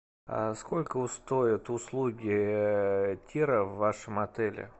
сколько стоят услуги тира в вашем отеле